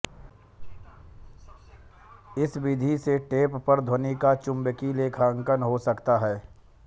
इस विधि से टेप पर ध्वनि का चुंबकीय आलेखन हो जाता है